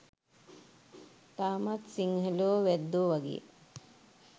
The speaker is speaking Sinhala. තාමත් සිංහලයෝ වැද්දෝ වගේ